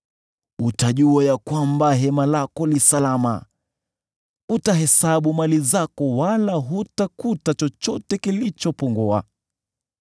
Utajua ya kwamba hema lako li salama; utahesabu mali zako wala hutakuta chochote kilichopungua.